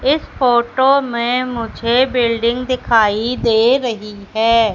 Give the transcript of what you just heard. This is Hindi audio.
इस फोटो में मुझे बिल्डिंग दिखाई दे रही है।